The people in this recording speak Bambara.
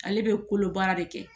Ale bɛ kolo baara de kɛ.